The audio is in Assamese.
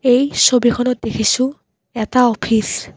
এই ছবিখনত দেখিছোঁ এটা অফিচ।